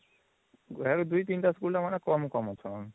ଏବେ ୨ ୩ ଟା school ର ମାନେ କମ କମ ଅଚାନ